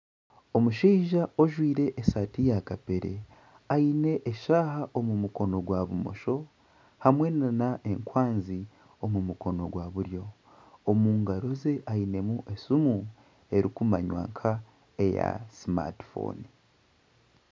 Omushija ojwire esaati ya kapere aine eshaaha omu mukono gwa bumosho hamwe n'enkwanzi omu mukono gwa buryo. Omu ngaro ze ainemu esimu erikumanywa nk'eya simati fooni.